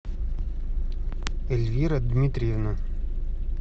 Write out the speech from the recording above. эльвира дмитриевна